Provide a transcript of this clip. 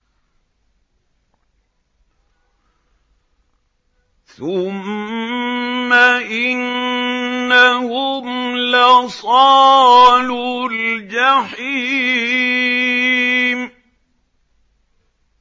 ثُمَّ إِنَّهُمْ لَصَالُو الْجَحِيمِ